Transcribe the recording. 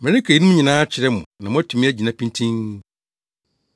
“Mereka eyinom nyinaa akyerɛ mo na moatumi agyina pintinn.